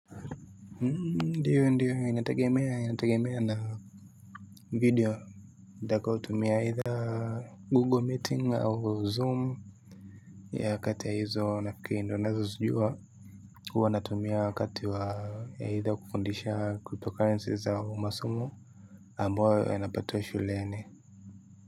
Ndiyo ndiyo inategemea inategemea na video nitakayotumia aidha Google Meet au Zoom. Yeah, kati ya hizo nafifikiri ndizo ninazozijua huwa natumia wakati wa aidha kufundisha kutoka enzi za masomo ambayo yanapatiwa shuleni.